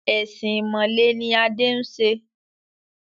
Ẹ̀sìn ìmọ̀le ni Adé ń ṣe.